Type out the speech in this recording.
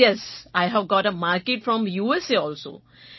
yes I have got a market from USA also